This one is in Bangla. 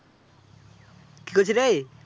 কি করছিস রে?